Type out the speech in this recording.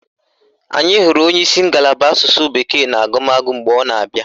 Anyị hụrụ onyeisi ngalaba Asụsụ bekee na agụmagụ mgbe ọ na-abịa